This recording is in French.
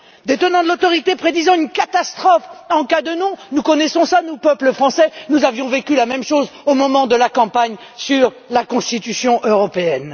Les tenants de l'austérité prédisaient une catastrophe en cas de non. Nous connaissons cela, nous, peuple français, car nous avons vécu la même chose au moment de la campagne sur la Constitution européenne.